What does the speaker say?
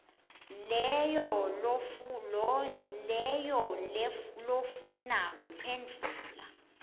leyo lofuna kuphendvula